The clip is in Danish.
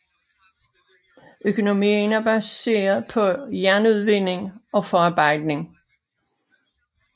Økonomien er baseret på jernudvinding og forarbejdning